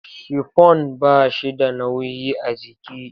Shifon ba shi da nauyi a jiki.